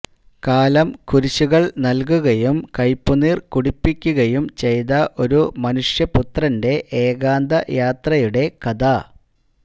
കാലം കുരിശുകൾ നല്കുകയും കയ്പുനീർ കുടിപ്പിക്കുകയും ചെയ്ത ഒരു മനുഷ്യപുത്രന്റെ ഏകാന്തയാത്രയുടെ കഥ